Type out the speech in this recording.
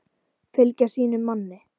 Fylgja sínum manni.